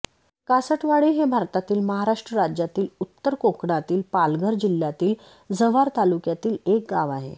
कासटवाडी हे भारतातील महाराष्ट्र राज्यातील उत्तर कोकणातील पालघर जिल्ह्यातील जव्हार तालुक्यातील एक गाव आहे